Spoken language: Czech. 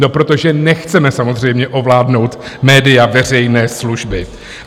No protože nechceme samozřejmě ovládnout média veřejné služby.